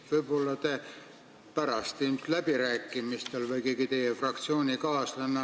Võib-olla pärast, ilmselt läbirääkimistel, teeb seda keegi teie fraktsioonikaaslane.